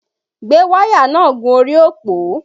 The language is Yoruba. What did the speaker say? Gbé wáyà náà gun orí òpó!